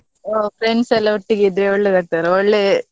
ಆ friends ಎಲ್ಲಾ ಒಟ್ಟಿಗಿದ್ರೆ ಒಳ್ಳೆದಾಗ್ತದಲ್ಲ ಒಳ್ಳೆ.